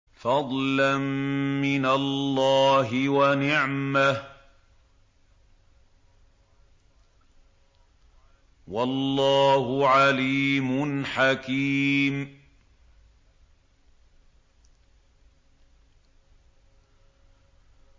فَضْلًا مِّنَ اللَّهِ وَنِعْمَةً ۚ وَاللَّهُ عَلِيمٌ حَكِيمٌ